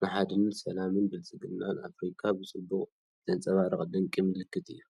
ንሓድነትን ሰላምን ብልጽግናን ኣፍሪቃ ብጽቡቕ ዘንጸባርቕ ድንቂ ምልክት እዩ፡፡